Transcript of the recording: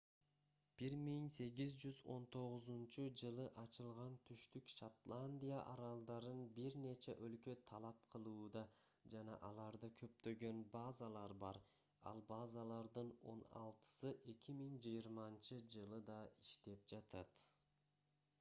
1819-жылы ачылган түштүк шотландия аралдарын бир нече өлкө талап кылууда жана аларда көптөгөн базалар бар ал базалардын он алтысы 2020-жылы да иштеп жатат